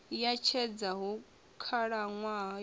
ya tshedza hu khalaṅwaha ya